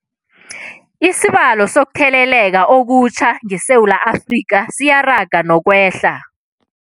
Isibalo sokuthele leka okutjha ngeSewula Afrika siyaraga nokwehla.